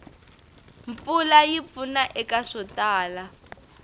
mpfula yi pfuna eka swo tala